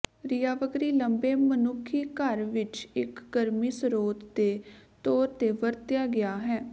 ਰਾਿਵਗਰੀ ਲੰਬੇ ਮਨੁੱਖੀ ਘਰ ਵਿੱਚ ਇੱਕ ਗਰਮੀ ਸਰੋਤ ਦੇ ਤੌਰ ਤੇ ਵਰਤਿਆ ਗਿਆ ਹੈ